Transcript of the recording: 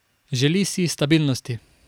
Želi si stabilnosti.